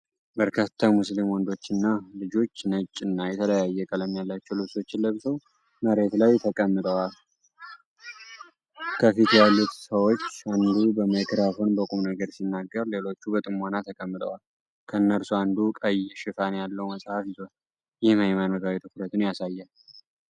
በርካታ ሙስሊም ወንዶችና ልጆች ነጭ እና የተለያየ ቀለም ያላቸው ልብሶችን ለብሰው መሬት ላይ ተቀምጠዋል። ከፊት ያሉት ሰዎች አንዱ በማይክሮፎን በቁምነገር ሲናገር፣ ሌሎቹም በጥሞና ተቀምጠዋል። ከእነርሱ አንዱ ቀይ ሽፋን ያለው መጽሐፍ ይዟል፤ ይህም ሃይማኖታዊ ትኩረትን ያሳያል።